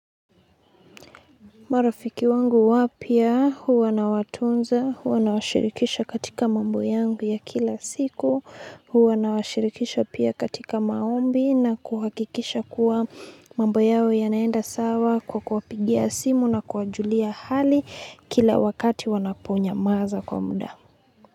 Marafiki wangu wapya huwa na watunza, huwa na washirikisha katika mambo yangu ya kila siku, huwa na washirikisha pia katika maombi na kuhakikisha kuwa mambo yao yanaenda sawa kwa kuwapigia simu na kuwajulia hali kila wakati wanaponyamaza kwa muda.